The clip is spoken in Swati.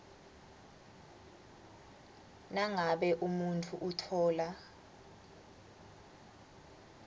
nangabe umuntfu utfola